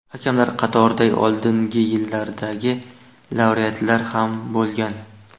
Hakamlar qatorida oldingi yilllardagi laureatlar ham bo‘lgan.